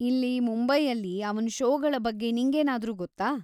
ಇಲ್ಲಿ ಮುಂಬೈಯಲ್ಲಿ ಅವನ ಷೋಗಳ ಬಗ್ಗೆ ನಿಂಗೇನಾದ್ರೂ ಗೊತ್ತಾ?